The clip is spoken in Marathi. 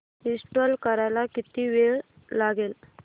इंस्टॉल करायला किती वेळ लागेल